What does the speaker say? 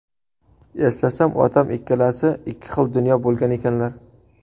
Eslasam, otam ikkalasi ikki xil dunyo bo‘lgan ekanlar.